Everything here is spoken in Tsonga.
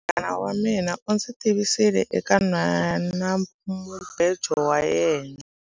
Munghana wa mina u ndzi tivisile eka nhwanamubejo wa yena.